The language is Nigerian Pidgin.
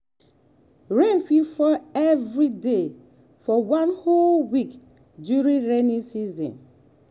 rain fit fall every day for one whole week during rainy season.